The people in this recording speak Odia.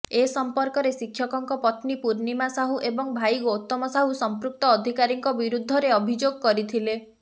ଏସଂପର୍କରେ ଶିକ୍ଷକଙ୍କ ପତ୍ନୀ ପୂର୍ଣ୍ଣିମା ସାହୁ ଏବଂ ଭାଇ ଗୌତମ ସାହୁ ସଂପୃକ୍ତ ଅଧିକାରୀଙ୍କ ବିରୁଦ୍ଧରେ ଅଭିଯୋଗ କରିଥିଲେ